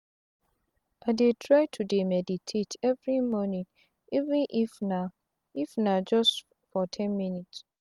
i dey try to dey meditate everi morning even if na if na just for ten minutes.